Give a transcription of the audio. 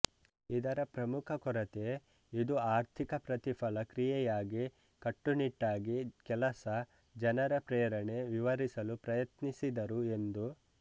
ಇದರ ಪ್ರಮುಖ ಕೊರತೆ ಇದು ಆರ್ಥಿಕ ಪ್ರತಿಫಲ ಕ್ರಿಯೆಯಾಗಿ ಕಟ್ಟುನಿಟ್ಟಾಗಿ ಕೆಲಸ ಜನರ ಪ್ರೇರಣೆ ವಿವರಿಸಲು ಪ್ರಯತ್ನಿಸಿದರು ಎಂದು